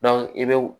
i bɛ wo